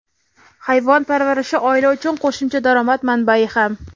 Hayvon parvarishi oila uchun qo‘shimcha daromad manbai ham.